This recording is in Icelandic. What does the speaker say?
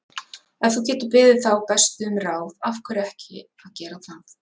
Ef þú getur beðið þá bestu um ráð, af hverju ekki að gera það?